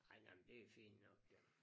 Ej nej men det fint nok jo